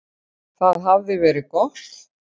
Það hafði verið gott.